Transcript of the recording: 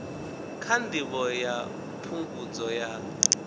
kha ndivho ya phungudzo ya